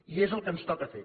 i és el que ens toca fer